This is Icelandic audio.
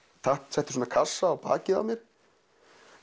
setti svona kassa á bakið á mér